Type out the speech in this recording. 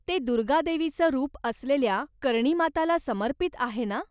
ते दुर्गा देवीचं रूप असलेल्या कर्णी माताला समर्पित आहे ना?